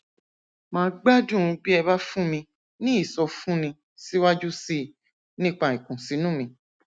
màá gbádùn bí ẹ bá fún mi ní ìsọfúnni síwájú sí i nípa ìkùnsínú mi